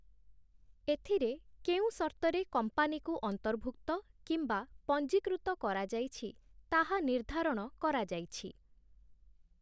ଏଥିରେ କେଉଁ ସର୍ତ୍ତରେ କମ୍ପାନୀକୁ ଅନ୍ତର୍ଭୁକ୍ତ କିମ୍ବା ପଞ୍ଜୀକୃତ କରାଯାଇଛି ତାହା ନିର୍ଦ୍ଧାରଣ କରାଯାଇଛି।